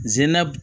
Zenna